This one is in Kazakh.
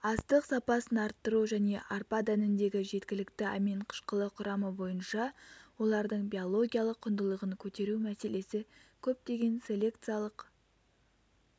астық сапасын арттыру және арпа дәніндегі жеткілікті амин қышқылы құрамы бойынша олардың биологиялық құндылығын көтеру мәселесі көптеген селекциялық